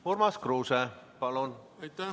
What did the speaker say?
Urmas Kruuse, palun!